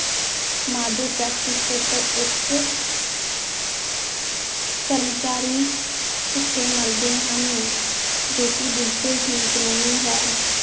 Model practice paper ਇੱਕ ਕਰਮਚਾਰੀ ਭੁੁੱਖੇ ਮਰਦੇ ਹਨ, ਜੋ ਕਿ ਬਿਲਕੁਲ ਠੀਕ ਨਹੀਂ ਹੈ।